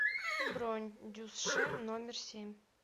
бронь дюсш номер семь